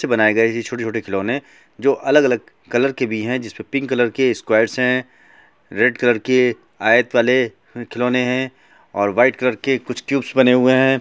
चित्र बनाए गए हैं छोटे-छोटे खिलौने जो अलग-अलग कलर के भी है जिसमें पिंक कलर के स्क्वायर है रेड कलर के आयत वाले खिलौने हैं और व्हाइट कलर के कुछ क्यूब्स बने हुए हैं।